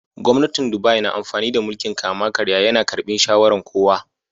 Gwamnatin Dubai na amfani da mulki'n kama-karya. Ya na karbin shawaran kowa.